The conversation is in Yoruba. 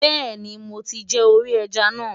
Bẹ́ẹ̀ni. mo ti jẹ orí ẹja náà.